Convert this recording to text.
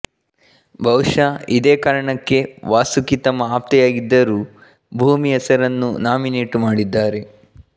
ಬಹುಶಃ ಇದೇ ಕಾರಣಕ್ಕೆ ವಾಸುಕಿ ತಮ್ಮ ಆಪ್ತೆಯಾಗಿದ್ದರೂ ಭೂಮಿ ಹೆಸರನ್ನು ನಾಮಿನೇಟ್ ಮಾಡಿದ್ದಾರೆ